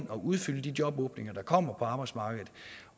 og udfylde de jobåbninger der kommer på arbejdsmarkedet